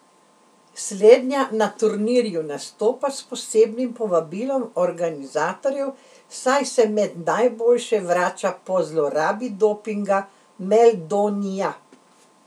Slednja na turnirju nastopa s posebnim povabilom organizatorjev, saj se med najboljše vrača po zlorabi dopinga, meldonija.